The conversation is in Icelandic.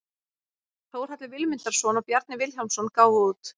Þórhallur Vilmundarson og Bjarni Vilhjálmsson gáfu út.